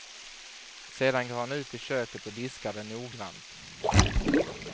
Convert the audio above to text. Sedan går han ut i köket och diskar den noggrant. punkt